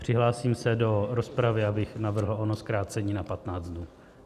Přihlásím se do rozpravy, abych navrhl ono zkrácení na 15 dnů.